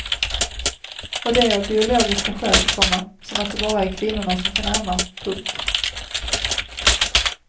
Och det av biologiska skäl, komma som att det bara är kvinnorna som kan amma. punkt